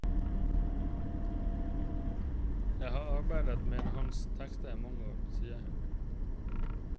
Jeg har arbeidet med hans tekster i mange år, sier hun.